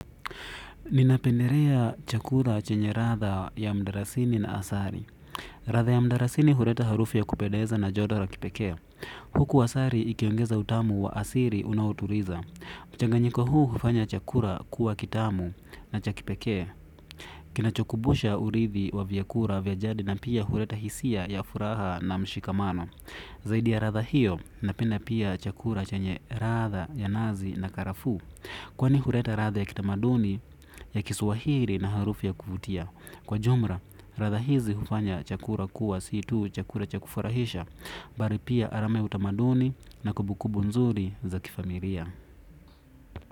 Ninapendelea chakula chenye ladha ya mdalasini na asali. Ladha ya mdalasini huleta harufu ya kupendeza na jodoro kipekee. Huku asali ikiongeza utamu wa asili unaotuliza. Mchanganyiko huu hufanya chakula kuwa kitamu na chakipekee. Kinachokumbusha uridhi wa vyakula vya jadi na pia huleta hisia ya furaha na mshikamano zaidi ya latha hiyo napenda pia chakula chenye ladha ya nazi na karafuu. Kwani huleta ladha ya kitamaduni, ya kiswahili na harufu ya kuvutia. Kwa jumla, ladha hizi hufanya chakula kuwa si tu, chakula cha kufurahisha. Bali pia alama ya utamaduni na kumbukumbu nzuri za kifamilia.